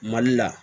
Mali la